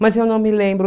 Mas eu não me lembro.